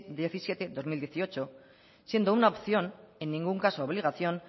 diecisiete dos mil dieciocho siendo una opción en ningún caso obligación